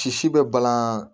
Sisi bɛ balan